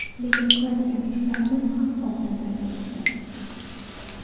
lekin qiladigan ishlarimiz ham oldinda turibdi.